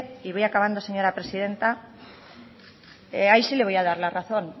y voy acabando señora presidenta ahí sí le voy a dar la razón